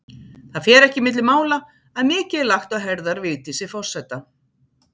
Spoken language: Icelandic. Það fer ekki milli mála að mikið er lagt á herðar Vigdísi forseta.